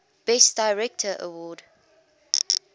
best director award